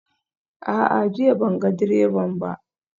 A'a, jiya ban ga direban ba